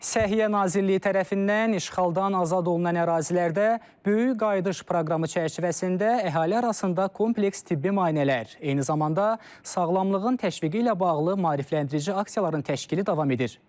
Səhiyyə Nazirliyi tərəfindən işğaldan azad olunan ərazilərdə böyük qayıdış proqramı çərçivəsində əhali arasında kompleks tibbi müayinələr, eyni zamanda sağlamlığın təşviqi ilə bağlı maarifləndirici aksiyaların təşkili davam edir.